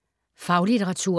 Faglitteratur